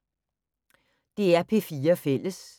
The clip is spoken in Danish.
DR P4 Fælles